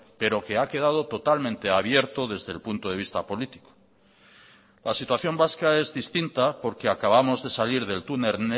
pero que ha quedado totalmente abierto desde el punto de vista político la situación vasca es distinta porque acabamos de salir del túnel